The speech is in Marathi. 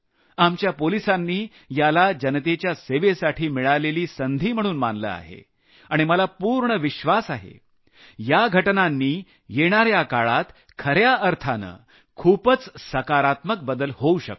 आपल्या पोलिसांनी याला जनतेच्या सेवेसाठी मिळालेली संधी म्हणून मानलं आहे आणि मला पूर्ण विश्वास आहे की या घटनांमुळे येणार्या काळात खर्या अर्थानं खूपच सकारात्मक बदल होऊ शकतो